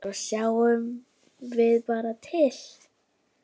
Svo sjáum við bara til.